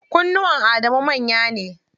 Kunnuwan Adamu manya ne.